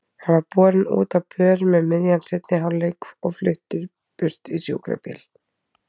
Hann var borinn út á börum um miðjan seinni hálfleik og fluttur burt í sjúkrabíl.